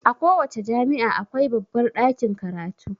A ko wace jami'a akwai babbar ɗakin karatu.